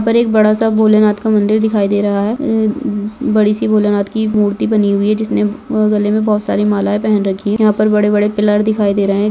यहाँ पर एक बड़ा सा भोलेनाथ का मंदिर दिखाई दे रहा है बड़ी सी भोलेनाथ की मूर्ति बनी हुई है जिसने गले मे बोहोत सारे मालाये पहन रखी है यहाँ पर बड़े बड़े पिलर दिखाई दे रहे है।